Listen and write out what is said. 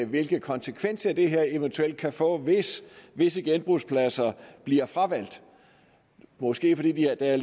hvilke konsekvenser det her eventuelt kan få hvis visse genbrugspladser bliver fravalgt måske fordi der er